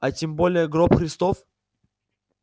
а тем более гроб христов